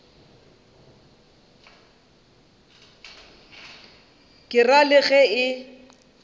ke ra le ge e